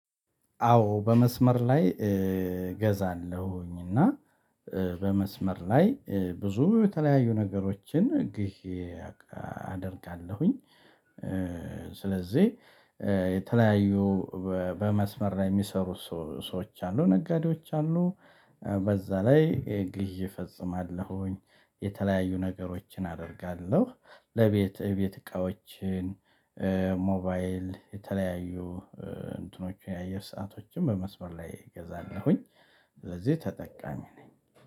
አዎ በመስመር ላይ እገዛለሁኝ፤ እና በመስመር ላይ ብዙ የተለያዩ ነገሮችን ግዢ አደርጋለሁኝ። ስለዚህ የተለያዩ በመስመር ላይ የሚሰሩ ሰዎ ሰዎች አሉ ነጋዴዎች አሉ። በዛ ላይ ግዢ እፈጽማለሁኝ የተለያዩ ነገሮችን አደርጋለሁ። ለቤት የቤት እቃዎችን ሞባይል የተለያዩ እንትኖችን የአየር ሰአቶችን በመስመር ላይ እገዛለሁኝ። ስለዚህ ተጠቃሚ ነኝ።